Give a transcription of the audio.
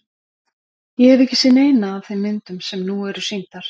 Ég hef ekki séð neina af þeim myndum sem nú eru sýndar.